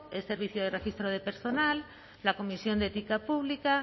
el servicio de registro de personal la comisión de ética pública